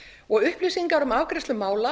og upplýsingar um afgreiðslu mála